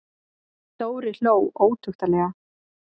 Dóri hló ótuktarlega.